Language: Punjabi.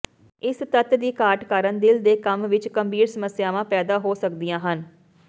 ਇਸ ਤੱਤ ਦੀ ਘਾਟ ਕਾਰਨ ਦਿਲ ਦੇ ਕੰਮ ਵਿੱਚ ਗੰਭੀਰ ਸਮੱਸਿਆਵਾਂ ਪੈਦਾ ਹੋ ਸਕਦੀਆਂ ਹਨ